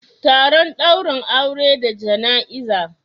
Taron daurin aure da jana'iza